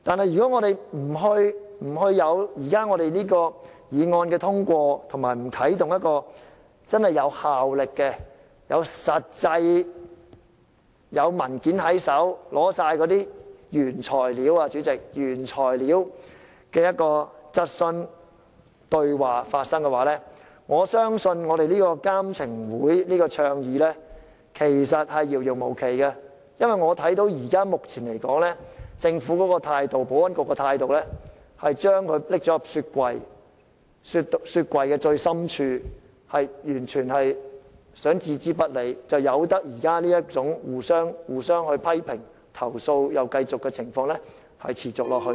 如果這項議案不獲通過，無法啟動一個真正有效的機制可以實實在在提供文件，讓質詢或對話在有原材料的情況下發生，我相信建議的"監懲會"將會成立無期，因為按照目前政府及保安局的態度來看，只會將這項建議放進雪櫃的最深處，然後置之不理，任由現時互相批評和不斷投訴的情況持續下去。